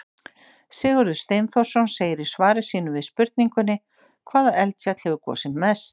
Sigurður Steinþórsson segir í svari sínu við spurningunni Hvaða eldfjall hefur gosið mest?